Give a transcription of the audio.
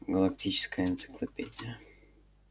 галактическая энциклопедия